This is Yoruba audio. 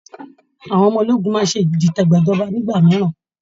Àwọn ọmọ ológun máa ń ṣe ìdìtẹ̀gbàjọba nígbà mìíràn